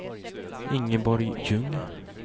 Ingeborg Ljung